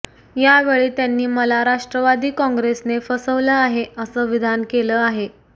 यावेळी त्यांनी मला राष्ट्रवादी कॉंग्रेसने फसवलं आहे अस विधान केले आहे